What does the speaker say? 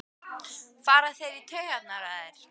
fara þeir í taugarnar á þér?